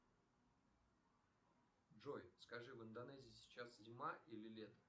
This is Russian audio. джой скажи в индонезии сейчас зима или лето